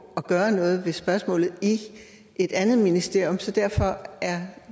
at gøre noget ved spørgsmålet i et andet ministerium så derfor er